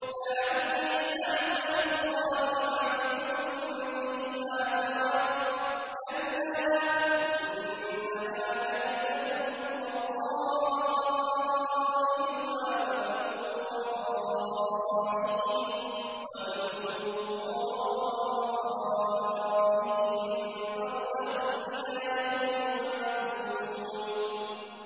لَعَلِّي أَعْمَلُ صَالِحًا فِيمَا تَرَكْتُ ۚ كَلَّا ۚ إِنَّهَا كَلِمَةٌ هُوَ قَائِلُهَا ۖ وَمِن وَرَائِهِم بَرْزَخٌ إِلَىٰ يَوْمِ يُبْعَثُونَ